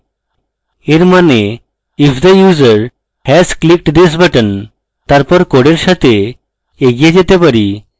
এর মানে if the user has clicked this button তারপর code সাথে এগিয়ে যেতে carry